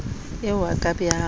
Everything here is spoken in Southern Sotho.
eo a ka be a